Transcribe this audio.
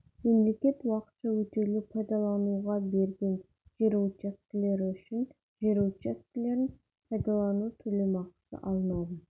мемлекет уақытша өтеулі пайдалануға берген жер учаскелері үшін жер учаскелерін пайдалану төлемақысы алынады